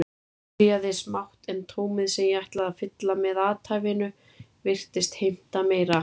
Ég byrjaði smátt en tómið sem ég ætlaði að fylla með athæfinu virtist heimta meira.